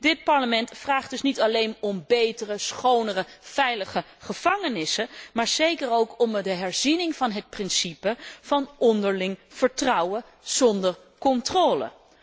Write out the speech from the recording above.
Dit Parlement vraagt dus niet alleen om betere, schonere, veilige gevangenissen, maar zeker ook om de herziening van het beginsel van onderling vertrouwen zonder controle.